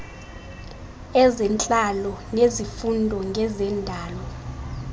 ezentlalo nezifundo ngezendalo